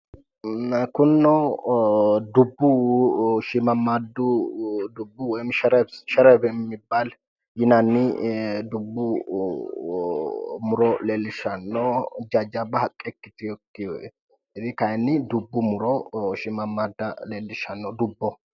Kunino dubbu shiimmammaaddu woyi sherebi yinanni dubbu muro leellishshanno jajjabba haqqe ikkitiwokkire kayinni shiimmammaadda dubbu muro leellishshanno dubboho.